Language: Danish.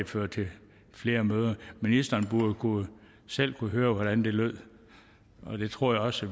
føre til flere møder ministeren burde selv kunne høre hvordan det lød og det tror jeg også